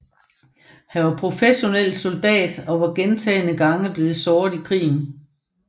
Han var professionel soldat og var gentagne gange blevet såret i krigen